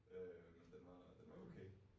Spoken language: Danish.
Øh den var den var okay